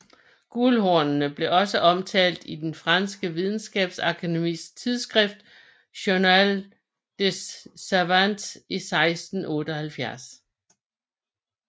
Guldhornet blev også omtalt i det franske videnskabsakademis tidsskrift Journal des Savants i 1678